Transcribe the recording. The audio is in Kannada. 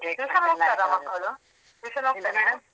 Tuition ಹೋಗ್ತಾರಾ ಮಕ್ಕಳು tuition ?